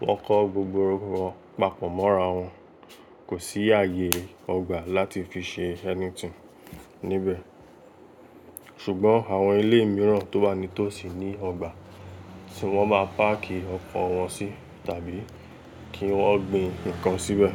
wọ́n kọ́ gbogbo won papọ̀ mọ́ra wọn. Kò sí ààyè ọgbà láti fi ṣe anything níbẹ̀. Ṣùgbọ́n àwọn ilé míràn tó wá ní tòsí ní ọgbà tí wọ́n máa park ọkọ̀ wọn sí tàbí kí wọ́n gbin nǹkan síbẹ̀.